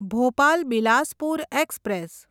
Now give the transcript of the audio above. Bhopal Bilaspur express